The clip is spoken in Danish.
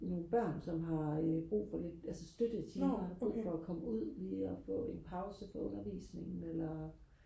nogle børn som har brug for lidt altså støttetimer brug for og komme ud lige og få en pause fra undervisningen eller